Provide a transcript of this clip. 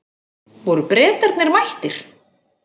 Voru Bretarnir mættir?